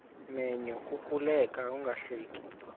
menyo kukuleka ungahleki